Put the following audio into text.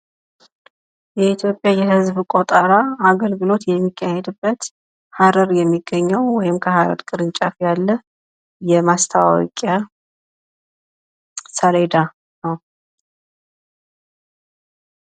የኢትዮጵያ የህዝብ ይቆጠራል የሚካሄድበት ሀረር የሚገኘው ወይም ከሀረር ቅርንጫፍ ያለ የማስታወቂያ ሰለዳ ነው።